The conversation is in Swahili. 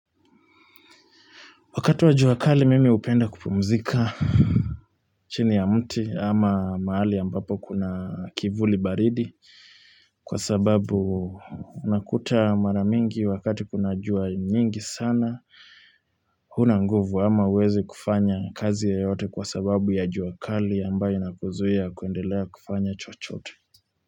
Wakati wa juwakali mimi upenda kupumzika. Chini ya mti ama maali ambapo kuna kivuli baridi. Kwa sababu unakuta maramingi wakati kuna juwa nyingi sana. Huna nguvu ama uwezi kufanya kazi ya yote kwa sababu ya juwakali ambayo inakuzuia kuendelea kufanya chochote.